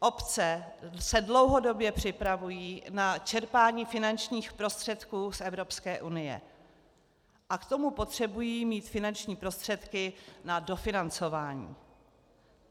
Obce se dlouhodobě připravují na čerpání finančních prostředků z Evropské unie a k tomu potřebují mít finanční prostředky na dofinancování.